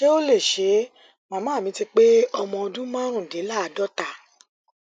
ṣé ó lè ṣe é màmá mi ti pé ọdún márùndínláàádọta